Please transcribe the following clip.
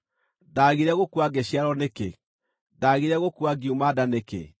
“Ndaagire gũkua ngĩciarwo nĩkĩ? Ndaagire gũkua ngiuma nda nĩkĩ?